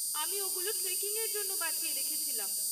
আমি ওগুলো ট্রেকিংয়ের জন্য বাঁচিয়ে রেখেছিলাম।